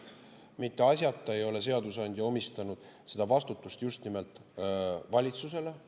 Mitte asjata ei ole seadusandja omistanud seda vastutust just nimelt valitsusele.